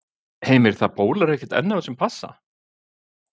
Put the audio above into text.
Heimir, það bólar ekkert enn á þessum passa?